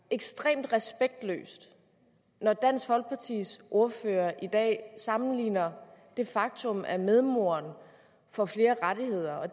ekstremt respektløst når dansk folkepartis ordfører i dag sammenligner det faktum at medmoderen får flere rettigheder og at